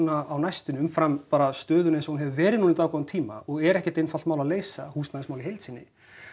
á næstunni umfram stöðuna eins og hún hefur verið núna í dágóðann tíma og er ekkert einfalt mál að leysa húsnæðismál í heild sinni